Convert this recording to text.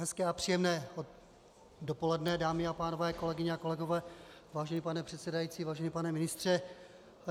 Hezké a příjemné dopoledne, dámy a pánové, kolegyně a kolegové, vážený pane předsedající, vážený pane ministře.